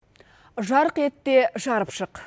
жарқ ет те жарып шық